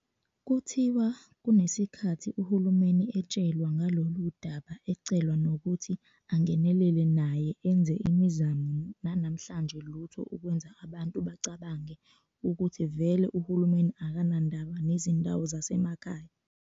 Kuthiwa kunesikhathi uhulumeni etshelwa ngaloludaba ecelwa nokuthi angenelele naye enze imizamo nanamhlanje lutho okwenza abantu bacabange ukuthi vele uhulumeni akanandaba nezindawo zasemakhaya.